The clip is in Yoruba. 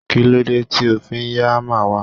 kilode ti o fi ya hammer wa